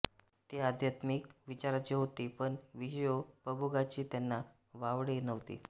ते आध्यात्मिक विचाराचे होते पण विषयोपभोगाचे त्यांना वावडे नव्हते